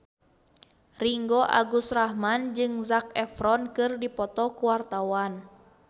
Ringgo Agus Rahman jeung Zac Efron keur dipoto ku wartawan